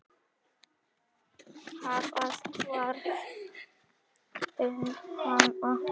Hvað varð um hana?